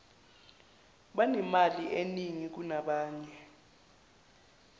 banemali eningi kunabanye